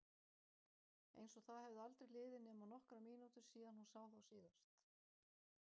Einsog það hefðu aldrei liðið nema nokkrar mínútur síðan hún sá þá síðast.